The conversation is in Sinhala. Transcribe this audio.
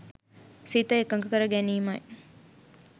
සිත එකඟ කර ගැනීමයි.